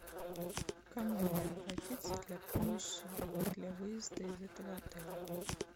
к кому мне обратиться для помощи для выезда из этого отеля